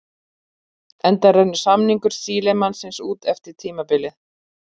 Enda rennur samningur Sílemannsins út eftir tímabilið.